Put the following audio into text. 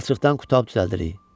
Palçıqdan qutab düzəldirik.